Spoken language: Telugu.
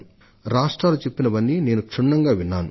ప్రతి రాష్ట్రం చెప్పినదంతా నేను శ్రద్ధగా ఆలకించాను